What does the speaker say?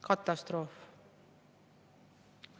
Katastroof!